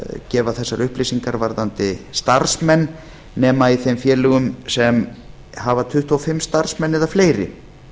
gefa þessar upplýsingar varðandi starfsmenn nema í þeim félögum sem hafa tuttugu og fimm starfsmenn eða fleiri